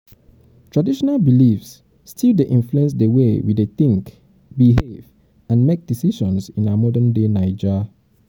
traditional beliefs still dey influence the way wey we wey we think behave and make decisions in our modern-day naija.